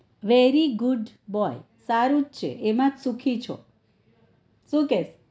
very good સારું જ છે એમાં સુખી છો સુ કેછ